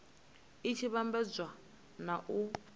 i tshi vhambedzwa na u